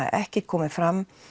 ekkert komið fram